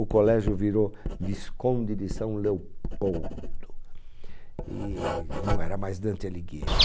O colégio virou Visconde de São Leopoldo e não era mais Dante Alighieri.